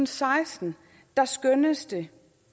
seksten skønnes det